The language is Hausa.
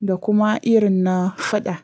da kuma irin na faɗa.